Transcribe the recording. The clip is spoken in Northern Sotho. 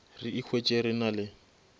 re ikhwetše re na le